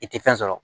I tɛ fɛn sɔrɔ